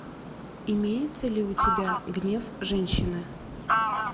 имеется ли у тебя гнев женщины